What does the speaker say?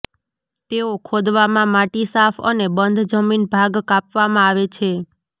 તેઓ ખોદવામાં માટી સાફ અને બંધ જમીન ભાગ કાપવામાં આવે છે